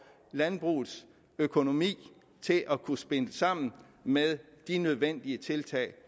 landbrugets økonomi til at kunne spille sammen med de nødvendige tiltag